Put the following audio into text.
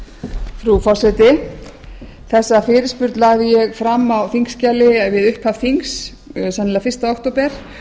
frú forseti ég lagði þessa fyrirspurn fram á þingskjali við upphaf þings sennilega fyrsta október